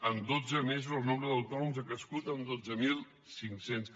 en dotze mesos el nombre d’autònoms ha crescut en dotze mil cinc cents